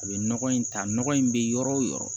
A bɛ nɔgɔ in ta nɔgɔ in bɛ yɔrɔ o yɔrɔ